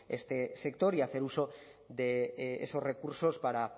este sector y hacer uso de esos recursos para